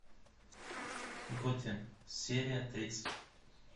готэм серия тридцать